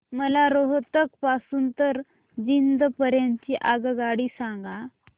मला रोहतक पासून तर जिंद पर्यंत ची आगगाडी सांगा